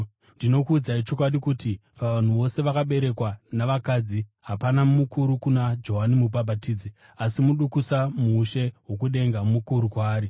Ndinokuudzai chokwadi kuti: Pavanhu vose vakaberekwa navakadzi, hapana mukuru kuna Johani Mubhabhatidzi. Asi mudukusa muushe hwokudenga mukuru kwaari.